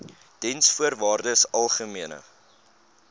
diensvoorwaardesalgemene